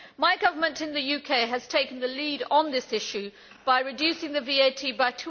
My Government in the UK has taken the lead on this issue by reducing VAT by